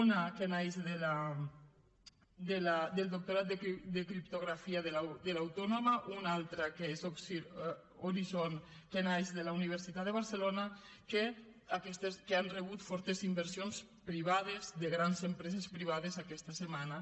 una que naix del doctorat de criptografia de l’autònoma una altra que és horizon que naix de la universitat de barcelona que han rebut fortes inversions privades de grans empreses privades aquesta setmana